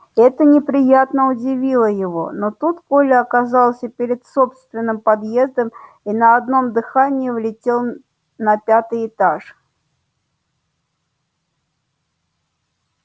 это неприятно удивило его но тут коля оказался перед собственным подъездом и на одном дыхании влетел на пятый этаж